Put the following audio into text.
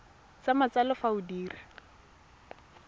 sa matsalo fa o dira